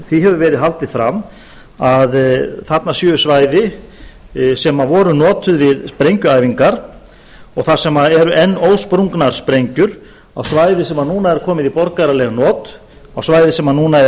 því hefur verið haldið fram að þarna séu svæði sem voru notuð við sprengjuæfinga og þar sem eru enn ósprungnar sprengjur á svæði sem er núna komið í borgaraleg not á svæði sem núna er